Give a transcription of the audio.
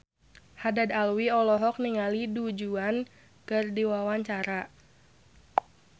Haddad Alwi olohok ningali Du Juan keur diwawancara